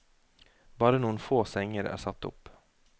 Bare noen få senger er satt opp.